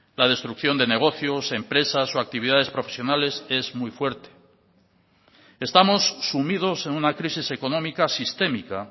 la destrucción de negocios empresas o actividades profesionales es muy fuerte estamos sumidos en una crisis económica sistémica